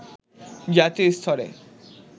জাতীয় স্তরে